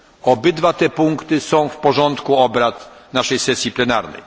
Obydwa te punkty są w porządku obrad naszej sesji plenarnej.